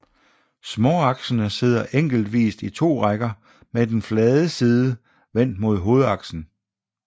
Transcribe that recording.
Småaksene sidder enkeltvist i to rækker med den flade side vendt mod hovedaksen